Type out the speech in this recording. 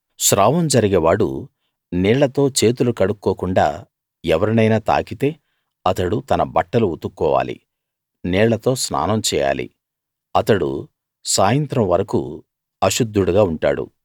స్రావం జరిగే వాడు నీళ్ళతో చేతులు కడుక్కోకుండా ఎవరినైనా తాకితే అతడు తన బట్టలు ఉతుక్కోవాలి నీళ్ళతో స్నానం చేయాలి అతడు సాయంత్రం వరకూ అశుద్ధుడుగా ఉంటాడు